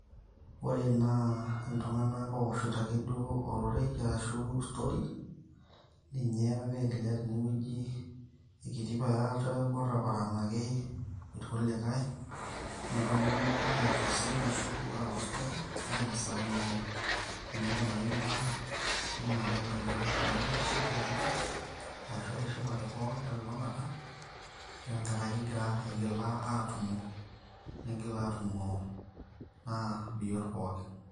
Ore naa, iltung'anak owoshito ake duo ororei arashu story ,ninye nagira aiendelea tenewueji. Ketii pae olchore obo otaparanaki ilkulikae, neponu aar osim ashu awosh story, ainosakino niikunari mbaa enaapa ebayioro. Neeku etishipe oleng',ashu etishipate pookin telulung'ata, tenkaraki igila atumo, nigil atumo na biot pookin.